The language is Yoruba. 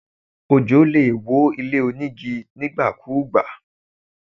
Ojò lè wó ilé onígi nígbàkúùgbà.